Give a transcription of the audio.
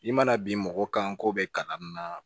I mana bin mɔgɔ kan ko bɛ kalan na